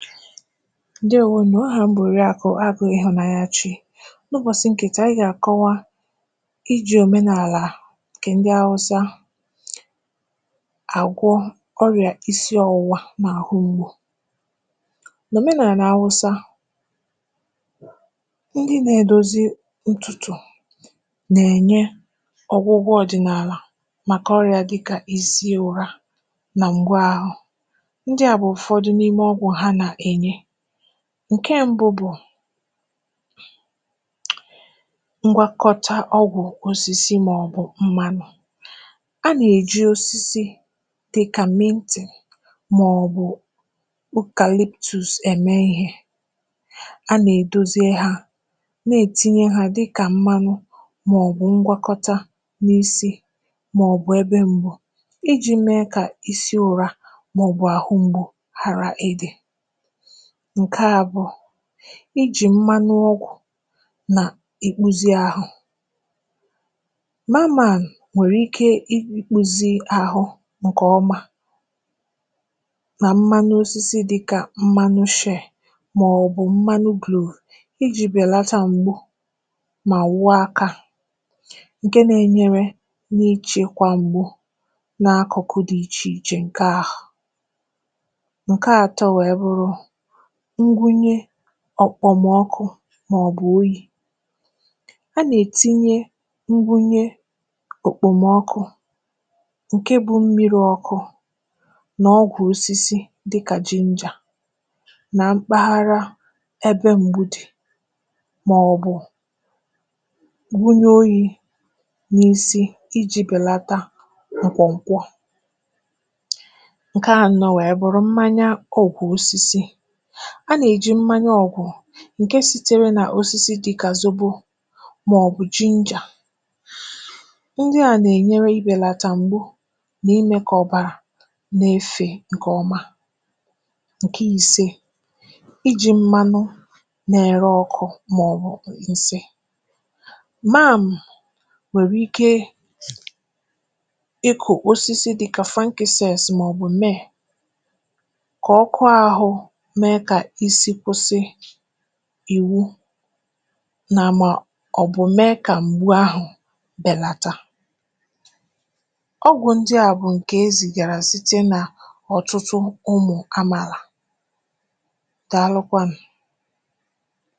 ǹdèwo nụ̀. ahà m bụ̀ Òriàkụ̀ Agụ̄ Ịhụ̀nanyachi. n’ụbọ̀sị ǹkè taà, anyị gà àkọwa ijì òmenàlà ǹkẹ̀ ndị Awụsa àgwọ ọrị̀à isi ọwụwa nà àhụ mgbu. n’òmenàlà Awụsa, ndị na edozi ntùtù nà ẹ̀nyẹ ọgwụgwọ ọ̀dị̀nàlà màkà ọrị̀à dịkà isi ụra, nà ǹgwa ahụ. ndị à bụ̀ ụ̀fọdụ ọgwụ ha nà ènye. ǹkẹ mbụ bụ̀, mgbakọta osisi mà ọ̀ bụ̀ ọgwụ̀ mmānụ. a nà èji osisi dịkà mint, mà ọ̀ bụ̀ eucalyptus ẹ̀mẹ ịhẹ̄. a nà èdoze hā, nà ètinye ha dịkà mmanụ, mà ọ̀ bụ mgbakọta n’isī, mà ọ̀ bụ̀ ebe mbọ, ijī me kà isi ụra, mà ọ̀ bụ̀ àrụ mgbu, ghàra ịdī. ǹkẹ abụọ, ijì mmanu ọgwụ̀, nà ikpuzi ahụ. mamàn nwẹ̀rẹ̀ ike I kpūzi àhụ ǹkè ọma, nà mmanụ osisi dịkà mmanụ fer, mà ọ̀ bụ mmanu clove, ijī bẹ̀lata m̀gbu, mà wụ aka, ǹkẹ na ẹnyẹrẹ, na ichekwa m̀gbu, na akụ̀kụ dị ichè ichè, ǹke ahụ. ǹke atọ wẹ̀ẹ bụrụ, ngwunye ọ̀kpọ̀mọkụ, mà ọ̀ bụ̀ oyī. ha nà ètinyẹ nrunye òkpomọkụ, ǹke bụ mmirī ọkụ, nà ọgwụ̀ osisi, dịkà ginger na mpaghara ẹbẹ mgbu dị̀, mà ọ̀ bụ̀ bunye oyī n’isi ijī bẹ̀lata ǹkwọ̀ ǹkwọ. ǹkẹ anọ wẹ̀ẹ bụrụ, mmanya ọgụ̀ osisi. a nà èji mmanya ọ̀gụ̀, ǹkẹ sitere nà osisi dịkà zobo, mà ọ̀ bụ̀ ginger. nrị à nà ènyere ibèlàtà m̀gbu, nà ịmẹ̄ kà ọ̀bàrà na efè ǹkè ọma. ǹkẹ ise, ijī mmanụ na ẹrẹ ọkụ̄ mà ọ̀ bụ̀ ǹsị. màm nwèrè ike ịkụ̀ osisi dịkà frankincense, mà ọ̀ bụ̀ myrrh, kà ọkụ ahụ mẹ kà isi kwụsị ìwụ, mà mà mẹ kà m̀gbu ahụ̀ bẹ̀nata. ọgwụ ndịà bụ̀ ǹkè ezìgàrà, site nà ọ̀tụtụ ụmụ̀ àmàlà. Dàalụkwanụ̀.